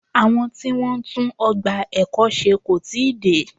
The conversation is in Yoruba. Àwọn tí Wọ́n ń tún ọgbà ẹ̀kọ́ ṣe kò tíì dé.